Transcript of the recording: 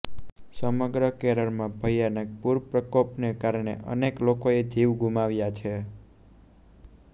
સમગ્ર કેરળમાં ભયાનક પૂરપ્રકોપને કારણે અનેક લોકોએ જીવ ગુમાવ્યા છે